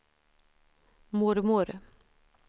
mormor